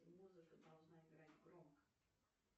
музыка должна играть громко